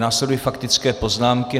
Následují faktické poznámky.